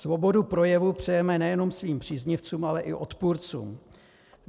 Svobodu projevu přejeme nejenom svým příznivcům, ale i odpůrcům.